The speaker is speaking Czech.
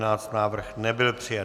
Návrh nebyl přijat.